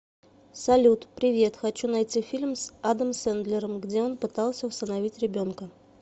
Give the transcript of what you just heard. салют привет хочу найти фильм с адам сэндлером где он пытался усыновить ребенка